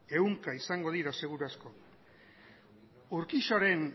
ehunka izango dira seguru asko urquijoren